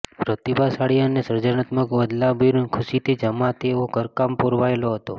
પ્રતિભાશાળી અને સર્જનાત્મક વ્લાદિમીર ખુશીથી જ્યાં તેઓ ઘરકામ પરોવાયેલા હતા